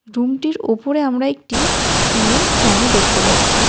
রুমটির ওপরে আমরা একটি সিলিং ফ্যানও দেখতে পাচ্ছি।